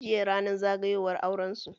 Jiya ranar zagayowar aurensu